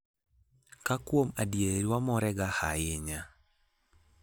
ka kwuom adieri wamorega hainya